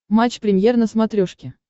матч премьер на смотрешке